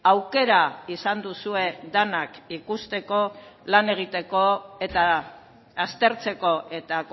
aukera izan duzue denak ikusteko lan egiteko eta aztertzeko eta